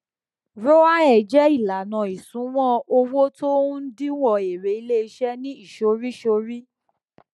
roae jẹ ìlànà ìṣúnná owó tó ń díwọn èrè iléiṣẹ ní ìsọríìsọrí